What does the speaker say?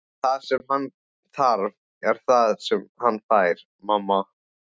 Það sem hann þarf er það sem hann fær, mamma.